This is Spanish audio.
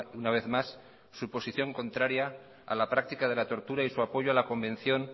una vez más su posición contraria a la práctica de la tortura y su apoyo a la convención